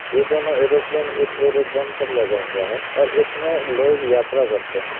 ये दोनों एयरोप्लेन इस एरोड्रम पर लगा हुआ है और इसमें लोग यात्रा करते है।